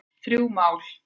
Þrjú mál